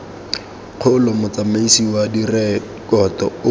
kgolo motsamaisi wa direkoto o